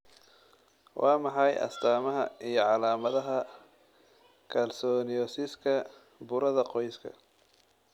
Waa maxay astamaha iyo calamadaha kalsoniosiska burada qoyska?